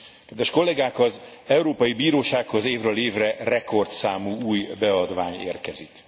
Kedves kollégák, az Európai Bírósághoz évről évre rekordszámú új beadvány érkezik.